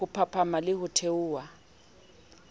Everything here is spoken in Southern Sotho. ho phahama le ho theoha